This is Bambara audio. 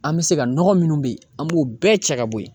An bɛ se ka nɔgɔ munnu be yen an b'o bɛɛ cɛ ka bɔ yen.